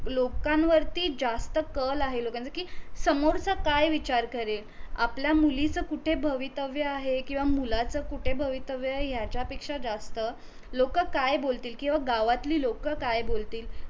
लोकांवरती जास्त कल आहे कि समोरचा काय विचार करेल आपल्या मुलीचं कुठे भवितव्य आहे किवा मुलाचं कुठे भवितव्य आहे याच्या पेक्षा जास्त लोक काय बोलतील किवा गावातली लोक काय बोलतील